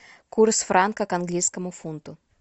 курс франка к английскому фунту